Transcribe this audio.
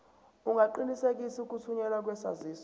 ungaqinisekisa ukuthunyelwa kwesaziso